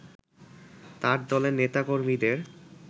তার দলের নেতাকর্মীদের